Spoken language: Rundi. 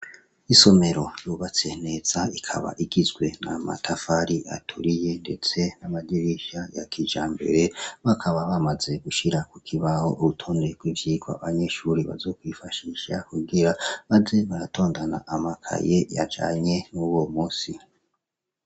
Isomero yubatse neza ikaba igizwe n'amatafari aturiye ndetse n'amadirisha ya kijambere , bakaba bamaze gushira kuk' ibaho urutonde rw'ivyigwa abanyeshure bazokwifashisha kugira baze baratondana amakaye yajanye n'uwo musi.